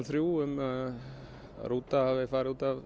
þrjú um að rútan hafi farið út af